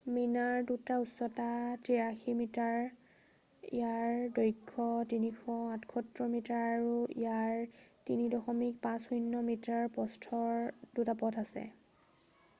মিনাৰ দুটাৰ উচ্চতা 83 মিটাৰ ইয়াৰ দৈৰ্ঘ্য 378 মিটাৰ আৰু ইয়াৰ 3.50 মিটাৰ প্ৰস্থৰ দুটা পথ আছে